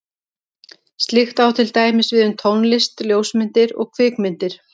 Slíkt á til dæmis við um tónlist, ljósmyndir og kvikmyndir.